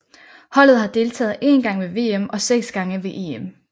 Holdet har deltaget én gang ved VM og seks gange ved EM